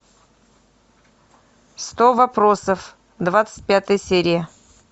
сто вопросов двадцать пятая серия